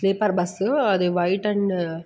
sleeper bus అది white and --